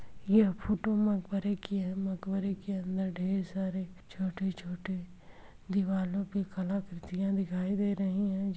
यह फोटू मकबरे की है मकबरे के अंदर ढेर सारे छोटी-छोटी दीवालों पे कला कृतियाँ दिखाई दे रही है जो --